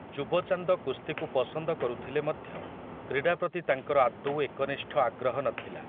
ଯୁବ ଚାନ୍ଦ କୁସ୍ତିକୁ ପସନ୍ଦ କରୁଥିଲେ ମଧ୍ୟ କ୍ରୀଡ଼ା ପ୍ରତି ତାଙ୍କର ଆଦୌ ଏକନିଷ୍ଠ ଆଗ୍ରହ ନଥିଲା ।